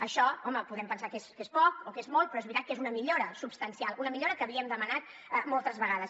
això home podem pensar que és poc o que és molt però és veritat que és una millora substancial una millora que havíem demanat moltes vegades